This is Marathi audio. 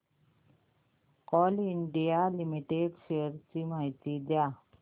कोल इंडिया लिमिटेड शेअर्स ची माहिती द्या